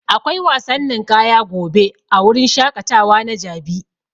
Akwai wasan ninƙaya gobe a wurin shaƙatawa na jabi.